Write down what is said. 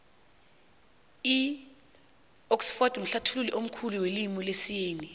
idxford mhlathului omkhulu welimu lesiyeni